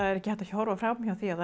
er ekki hægt að horfa fram hjá því að